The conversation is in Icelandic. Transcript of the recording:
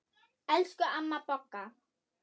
Elsku amma Bogga.